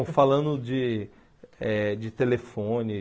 falando de eh de telefone.